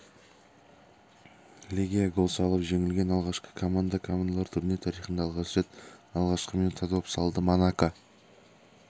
легия гол салып жеңілген алғашқы команда командалар турнир тарихында алғаш рет алғашқы минутта доп салды монако